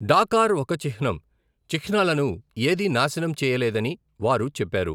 Dakar ఒక చిహ్నం, చిహ్నాలను ఏదీ నాశనం చేయలేదని వారు చెప్పారు.